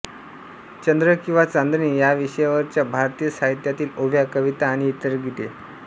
चंद्र किंवा चांदणे यावि़षयावरच्या भारतीय साहित्यातील ओव्या कविता आणि इतर गीते